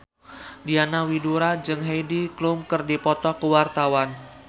Diana Widoera jeung Heidi Klum keur dipoto ku wartawan